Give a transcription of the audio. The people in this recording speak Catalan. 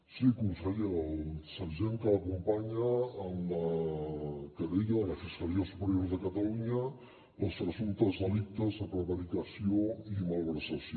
sí conseller el sergent que l’acompanya en la querella de la fiscalia superior de catalunya pels presumptes delictes de prevaricació i malversació